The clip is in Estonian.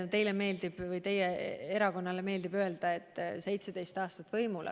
Teie erakonnale meeldib öelda, et Reformierakond oli 17 aastat võimul.